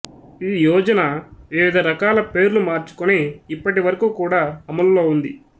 ఈ యోజన వివిధ రకాల పేర్లు మార్చుకొని ఇప్పటివరకు కూడా అమలులో ఉంది